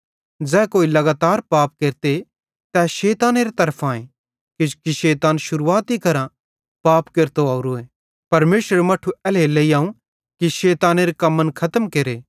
ज़ै कोई लगातार पाप केरते तै शैतानेरे तरफांए किजोकि शैतान शुरुआती करां पाप केरतो ओरोए परमेशरेरू मट्ठू एल्हेरेलेइ आव कि शैतानेरे कम्मन खतम केरे